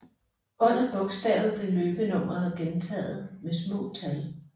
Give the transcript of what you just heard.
Under bogstavet blev løbenummeret gentaget med små tal